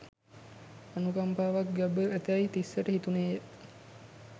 අනුකම්පාවක් ගැබ්ව ඇතැයි තිස්සට හිතුණේය